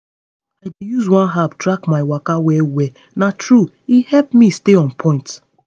i dey use one app track my waka well well na truth e help me stay on point.